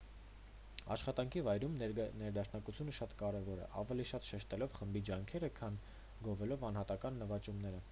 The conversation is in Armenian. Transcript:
աշխատանքի վայրում ներդաշնակությունը շատ կարևոր է ավելի շատ շեշտելով խմբի ջանքերը քան գովելով անհատական նվաճումները